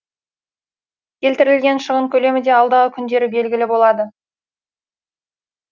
келтірілген шығын көлемі де алдағы күндері белгілі болады